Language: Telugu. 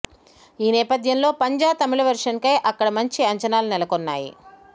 ఈ నేపథ్యంలో పంజా తమిళ వెర్షన్పై అక్కడ మంచి అంచనాలు నెలకొన్నాయి